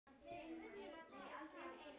Ég er farin út í.